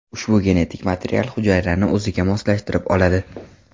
Ushbu genetik material hujayrani o‘ziga moslashtirib oladi.